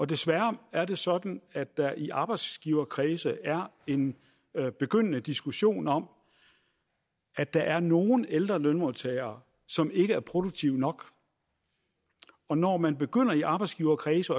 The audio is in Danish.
desværre er det sådan at der i arbejdsgiverkredse er en begyndende diskussion om at der er nogle ældre lønmodtagere som ikke er produktive nok og når man begynder i arbejdsgiverkredse